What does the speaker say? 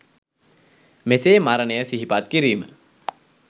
මෙසේ මරණය සිහිපත් කිරීම